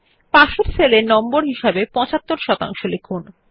পাশের সেল এ নম্বর হিসাবে ৭৫ শতাংশ লিখুন